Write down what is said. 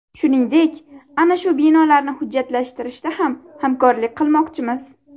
Shuningdek, ana shu binolarni hujjatlashtirishda ham hamkorlik qilmoqchimiz.